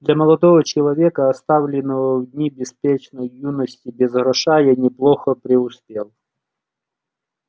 для молодого человека оставленного в дни беспечной юности без гроша я неплохо преуспел